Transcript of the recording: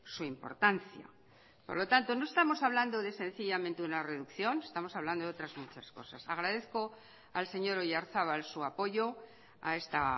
su importancia por lo tanto no estamos hablando de sencillamente una reducción estamos hablando de otras muchas cosas agradezco al señor oyarzabal su apoyo a esta